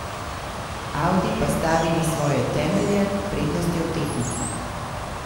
Audi pa stavi na svoje temelje, prednost je v tehniki.